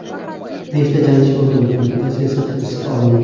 Beshta jangchi o‘ldirildi, bittasi esa hibsga olindi.